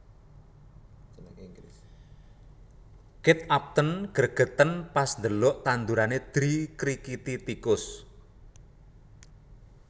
Kate Upton gregeten pas ndelok tandurane dikrikiti tikus